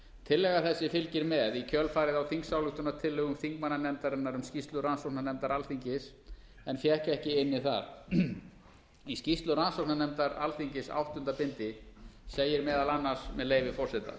tillaga þessi fylgir með í kjölfarið á þingsályktunartillögu þingmannanefndarinnar um skýrslu rannsóknarnefndar alþingis en fékk ekki inni þar í skýrslu rannsóknarnefndar alþingis áttunda bindi segir meðal annars með leyfi forseta